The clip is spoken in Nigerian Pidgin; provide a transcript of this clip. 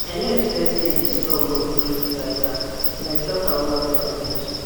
i nor expect say di store go quick close like dat but dem talk am well for news